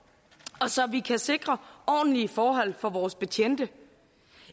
og så vi kan sikre ordentlige forhold for vores betjente